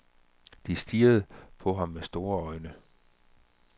De stirrede på ham med store øjne.